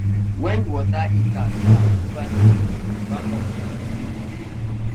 when water heater spoil over the weekend backup fund save the day